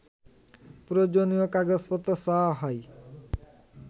প্রয়োজনীয় কাগজপত্র চাওয়া হয়